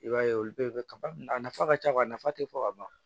I b'a ye olu bɛɛ bɛ kaba a nafa ka ca nafa tɛ fɔ ka ban